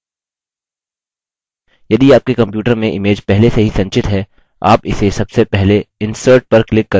यदि आपके computer में image पहले से ही संचित है आप इसे सबसे पहले insert पर क्लिक करके